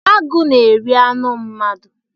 Agụ na-eri anụ mmadụ.